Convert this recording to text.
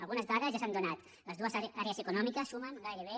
algunes dades ja s’han donat les dues àrees econòmiques sumen gairebé